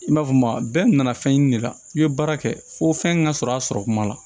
I b'a fɔ maa bɛɛ nana fɛn ɲini de la i bɛ baara kɛ fo fɛn min ka sɔrɔ a sɔrɔ kuma la